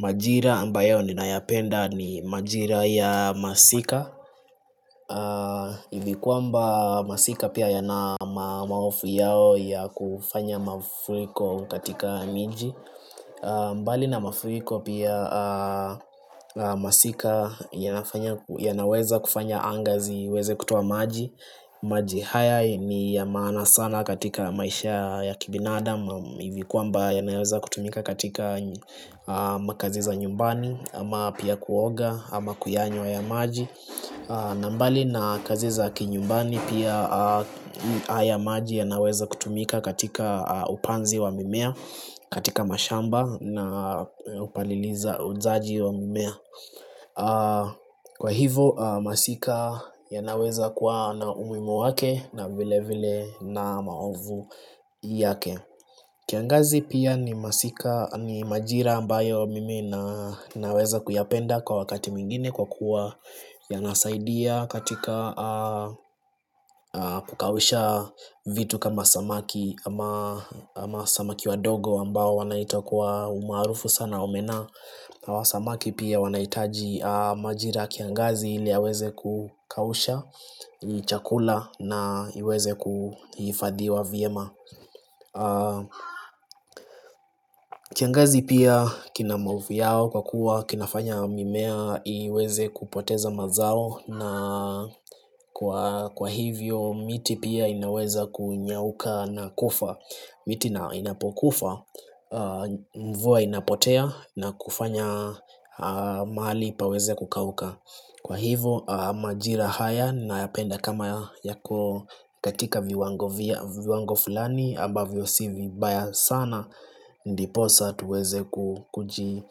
Majira ambayo ninayapenda ni majira ya masika hivi kwamba masika pia yana mahofu yao ya kufanya mafuriko katika miji. Mbali na mafuriko pia masika yanaweza kufanya anga ziweze kutoa maji. Maji haya ni ya maana sana katika maisha ya kibinadam hivi kwamba yanaweza kutumika katika makazi za nyumbani ama pia kuoga ama kuyanywa haya maji. Na mbali na kazi za kinyumbani pia haya maji yanaweza kutumika katika upanzi wa mimea katika mashamba na upalilizaji wa mimea. Kwa hivo masika yanaweza kuwa na umuhimu wake na vile vile na maovu yake. Kiangazi pia ni majira ambayo mimi na naweza kuyapenda kwa wakati mwingine kwa kuwa yanasaidia katika kukausha vitu kama samaki ama samaki wa dogo ambao wanaita kwa umaarufu sana omena. Na hawa samaki pia wanahitaji majira ya kiangazi ili yaweze kukausha chakula na iweze kuhifadhiwa vyema. Kiangazi pia kina maovu yao kwa kuwa kinafanya mimea iweze kupoteza mazao na kwa hivyo miti pia inaweza kunyauka na kufa. Miti ina inapokufa mvua inapotea na kufanya mahali paweze kukauka. Kwa hivyo majira haya nayapenda kama yako katika viwango fulani ambavyo si vibaya sana. Ndiposa tuweze kukuji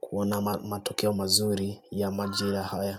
kuona matokeo mazuri ya majira haya.